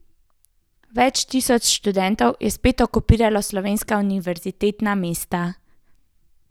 Več tisoč študentov je spet okupiralo slovenska univerzitetna mesta.